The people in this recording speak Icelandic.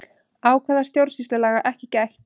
Ákvæða stjórnsýslulaga ekki gætt